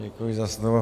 Děkuji za slovo.